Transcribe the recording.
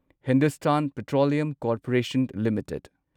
Hindustan petroleum corporation limited